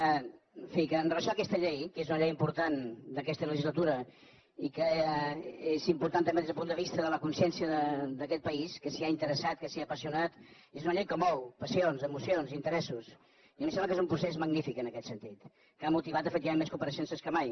en fi que amb relació a aquesta llei que és una llei important d’aquesta legislatura i que és important també des del punt de vista de la consciència d’aquest país que s’hi ha interessat que s’hi ha apassionat és una llei que mou passions emocions interessos i a mi em sembla que és un procés magnífic en aquest sentit que ha motivat efectivament més compareixences que mai